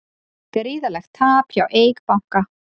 Gríðarlegt tap hjá Eik banka